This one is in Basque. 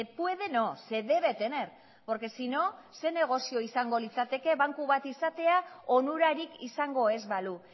puede no se debe tener porque sino ze negozio izango litzateke banku bat izatea onurarik izango ez balu